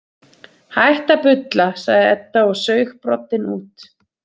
Hættu að bulla, sagði Edda og saug broddinn út.